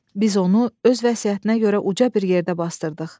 Biz onu öz vəsiyyətinə görə uca bir yerdə basdırdıq.